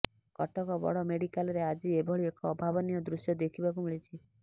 କଟକ ବଡ଼ ମେଡିକାଲ୍ରେ ଆଜି ଏଭଳି ଏକ ଅଭାବନୀୟ ଦୃଶ୍ୟ ଦେଖିବାକୁ ମିଳିଛି